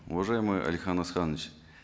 уважаемый алихан асханович